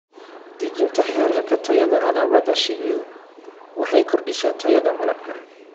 Dejinta heerarka tayada alaabada shinnidu waxay kordhisaa tayada malabka.